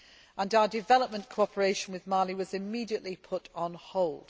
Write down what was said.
Our development cooperation with Mali was immediately put on hold.